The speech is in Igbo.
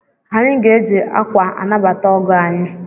Anyị ga-eji akwa anabata ọgọ anyị.